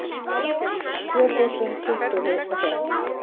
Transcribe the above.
Tvö þúsund tuttugu og fimm